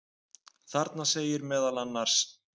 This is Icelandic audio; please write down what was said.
Þarna segir meðal annars: